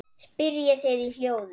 spyrjið þið í hljóði.